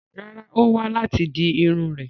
Rárá, Ó wá láti di Irun rè